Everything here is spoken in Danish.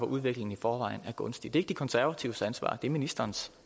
udviklingen i forvejen er gunstig det er ikke de konservatives ansvar det er ministerens